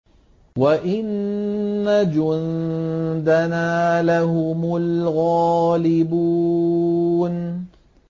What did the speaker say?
وَإِنَّ جُندَنَا لَهُمُ الْغَالِبُونَ